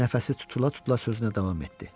nəfəsi tutula-tutula sözünə davam etdi.